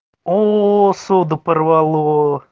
о суда порвало